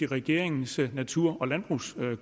regeringens natur og landbrugskommission